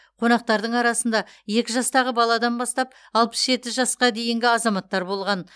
қонақтардың арасында екі жастағы баладан бастап алпыс жеті жасқа дейінгі азаматтар болған